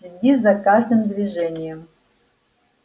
следи за каждым движением